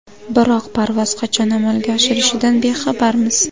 Biroq parvoz qachon amalga oshirishidan bexabarmiz.